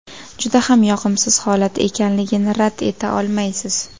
Juda ham yoqimsiz holat ekanligini rad eta olmaysiz.